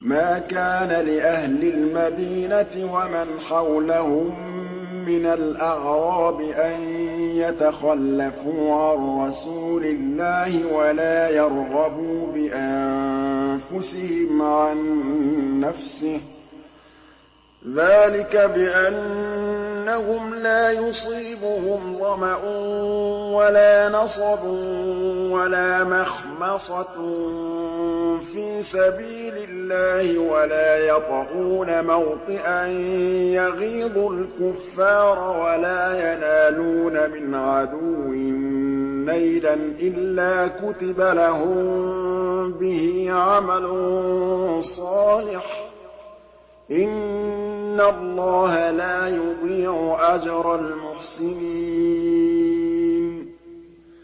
مَا كَانَ لِأَهْلِ الْمَدِينَةِ وَمَنْ حَوْلَهُم مِّنَ الْأَعْرَابِ أَن يَتَخَلَّفُوا عَن رَّسُولِ اللَّهِ وَلَا يَرْغَبُوا بِأَنفُسِهِمْ عَن نَّفْسِهِ ۚ ذَٰلِكَ بِأَنَّهُمْ لَا يُصِيبُهُمْ ظَمَأٌ وَلَا نَصَبٌ وَلَا مَخْمَصَةٌ فِي سَبِيلِ اللَّهِ وَلَا يَطَئُونَ مَوْطِئًا يَغِيظُ الْكُفَّارَ وَلَا يَنَالُونَ مِنْ عَدُوٍّ نَّيْلًا إِلَّا كُتِبَ لَهُم بِهِ عَمَلٌ صَالِحٌ ۚ إِنَّ اللَّهَ لَا يُضِيعُ أَجْرَ الْمُحْسِنِينَ